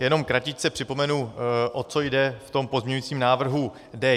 Jenom kratičce připomenu, o co jde v tom pozměňujícím návrhu D1.